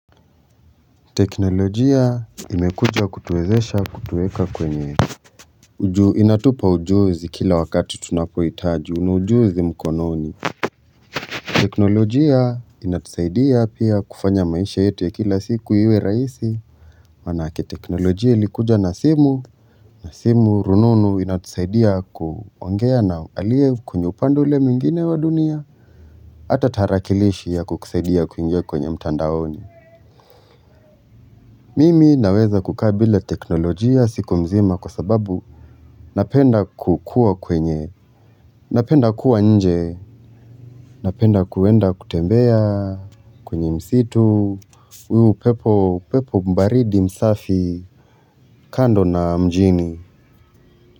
Teknolojia imekuja kutuwezesha kutuweka kwenye ju inatupa ujuzi kila wakati tunaphoitaji una ujuzi mkononi. Teknolojia inatusaidia pia kufanya maisha yetu ya kila siku iwe rahisi. Maana yake teknolojia ilikuja na simu. Na simu rununu inatusaidia kuongea na aliye kwenye upande ule mwingine wa dunia. Hata tarakilishi ya kukusaidia kuingiya kwenye mtandaoni. Mimi naweza kukaa bila teknolojia siku mzima kwa sababu napenda kukua kwenye, napenda kuwa nje, napenda kuenda kutembea. Kwenye msitu, huu pepo mbaridi msafi. Kando na mjini.